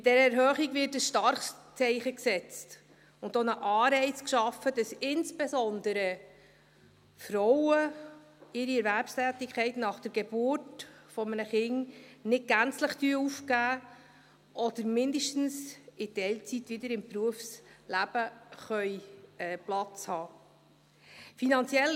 Mit dieser Erhöhung wird ein starkes Zeichen gesetzt und auch ein Anreiz geschaffen, damit insbesondere Frauen ihre Erwerbstätigkeit nach der Geburt eines Kindes nicht gänzlich aufgeben, oder zumindest in Teilzeit wieder im Berufsleben Platz haben können.